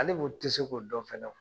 Hali tɛ se k'o dɔn fana.